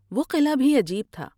وہ قلعہ بھی عجیب تھا ۔